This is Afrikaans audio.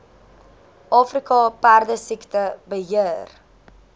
afrika perdesiekte beheer